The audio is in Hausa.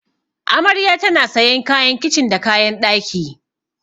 Amarya tana sayan kayan kicin da kayan ɗaki.